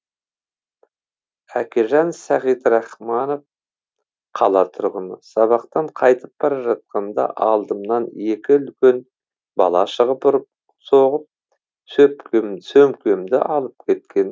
әкежан сағидрахманов қала тұрғыны сабақтан қайтып бара жатқанда алдымнан екі үлкен бала шығып ұрып соғып сөмкемді алып кеткен